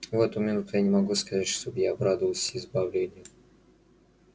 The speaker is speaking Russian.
в эту минуту я не могу сказать чтоб я обрадовался избавлению